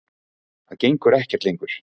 Og það gengur ekkert lengur.